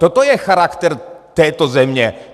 Toto je charakter této země.